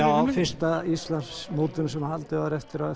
já fyrsta Íslandsmótinu sem haldið var eftir að